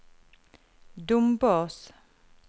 Dombås